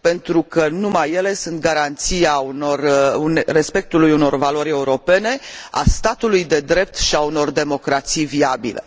pentru că numai ele sunt garanția respectului unor valori europene, a statului de drept și a unor democrații viabile.